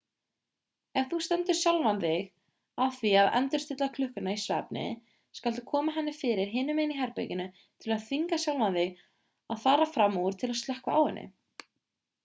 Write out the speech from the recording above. ef þú stendur sjálfan þig að því að endurstilla klukkuna í svefni skaltu koma henni fyrir hinu megin í herberginu til að þvinga sjálfan þig að fara fram úr til að slökkva á henni